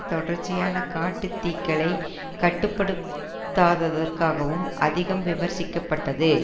தொடர்ச்சியான காட்டுத்தீக்களை கட்டுப்படுத்தாதற்காகவும் அதிகம் விமர்சிக்க பட்டது